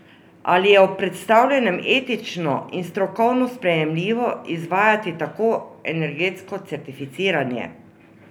Ali je ob predstavljenem etično in strokovno sprejemljivo izvajati tako energetsko certificiranje?